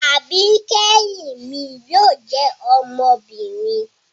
Àbikẹhin mi yóò jẹ ọmọbinrin